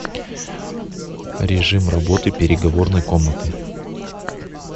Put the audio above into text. режим работы переговорной комнаты